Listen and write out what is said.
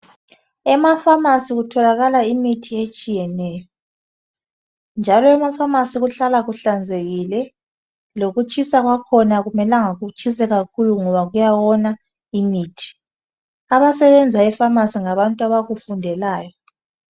Ema "pharmacy " kutholakala imithi etshiyeneyo njalo ema "pharmacy " kuhlala kuhlanzekile lokutshisa kwakhona akumelanga kutshise kakhulu ngoba kuyawona imithi. Abasebenzayo e"pharmacy "ngabantu abakufundelayo.